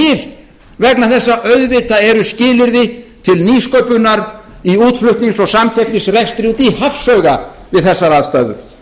vegna þess að auðvitað eru skilyrði til nýsköpunar í útflutnings og samkeppnisrekstri úti í hafsauga við þessar aðstæður